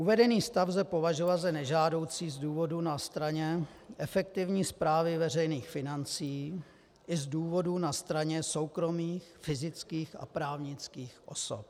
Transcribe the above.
Uvedený stav lze považovat za nežádoucí z důvodů na straně efektivní správy veřejných financí i z důvodů na straně soukromých fyzických a právnických osob.